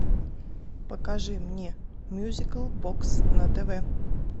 покажи мне мьюзикл бокс на тв